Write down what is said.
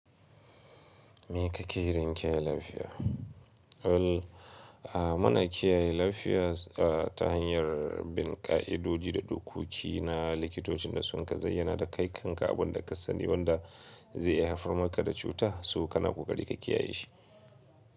Me ka ke yi don kiyaye lafiya? Ul, ah muna kiyaye lafiya a ta hanyar bin ƙa'idodi da dokoki na likitocin da su ka zayyana da kai kan ka abun da ka sani wanda zai haifar maka da cuta, so kana koƙari ka kiyaye shi.